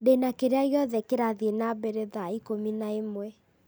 ndĩna kĩrĩa gĩothe kĩrathiĩ na mbere thaa ikũmi na ĩmwe